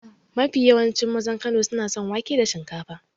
Mafi yawancin mazan Kano suna son wake da shinkafa.